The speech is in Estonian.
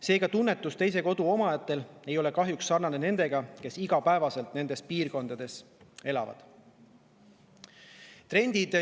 Seega, teise kodu omajate tunnetus ei ole kahjuks sarnane nende omaga, kes igapäevaselt nendes piirkondades elavad.